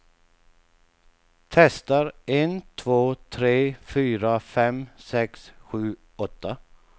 Testar en två tre fyra fem sex sju åtta.